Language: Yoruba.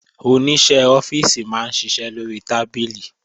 Oníṣẹ́ ọ́fíìsì máa ń ṣiṣẹ́ lórí tábìlì